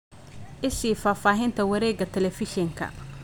I sii faahfaahinta wareegga telefishinka